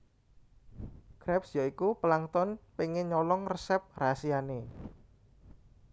Krabs ya iku Plankton pengen nyolong resep rahasiane